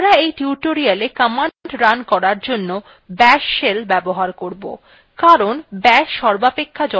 আমরা এই tutorialকমান্ড রান করার জন্য bash shell ব্যবহার করব